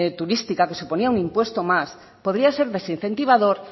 turística que suponía un impuesto más podía ser desincentivador